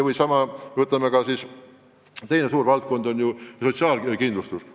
Või võtame teise suure valdkonna, sotsiaalkindlustuse.